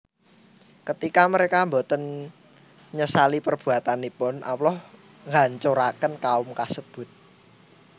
Ketika mereka boten nyesali perbuatanipun Allah nghancuraken kaum kasebut